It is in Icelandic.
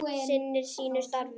Sinnir sínu starfi.